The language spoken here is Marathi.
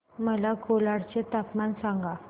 मला कोलाड चे तापमान सांगा